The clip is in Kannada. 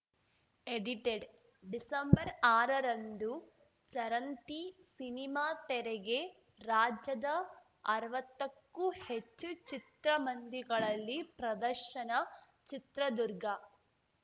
ಎಡಿಟೆಡ್‌ ಡಿಸೆಂಬರ್ಆರರಂದು ಚರಂತಿ ಸಿನಿಮಾ ತೆರೆಗೆ ರಾಜ್ಯದ ಅರ್ವತ್ತಕ್ಕೂ ಹೆಚ್ಚು ಚಿತ್ರಮಂದಿಗಳಲ್ಲಿ ಪ್ರದರ್ಶನ ಚಿತ್ರದುರ್ಗ